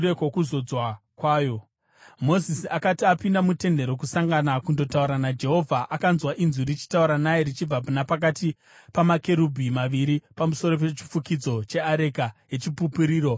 Mozisi akati apinda muTende Rokusangana kundotaura naJehovha, akanzwa inzwi richitaura naye richibva napakati pamakerubhi maviri pamusoro pechifukidzo cheareka yeChipupuriro. Uye akataura naye.